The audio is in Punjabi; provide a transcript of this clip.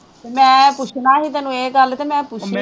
ਮੈਂ ਪੁੱਛਣਾ ਸੀ ਤੈਨੂੰ ਇਹ ਗੱਲ ਅਤੇ ਮੈਂ ਪੁੱਛ ਲਈ